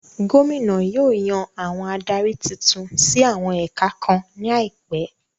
Gómìnà yóò yàn àwọn adarí titun sí àwọn ẹ̀ka kan ní àìpẹ